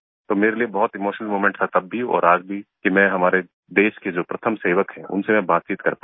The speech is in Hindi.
तो मेरे लिए बहुत इमोशनल मोमेंट था तब भी और आज भी कि मैं जो हमारे देश के जो प्रथम सेवक हैं उनसे मैं बातचीत कर पा रहा हूँ